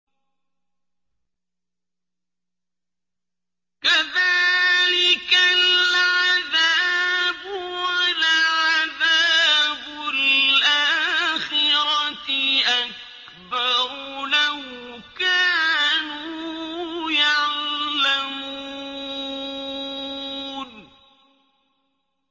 كَذَٰلِكَ الْعَذَابُ ۖ وَلَعَذَابُ الْآخِرَةِ أَكْبَرُ ۚ لَوْ كَانُوا يَعْلَمُونَ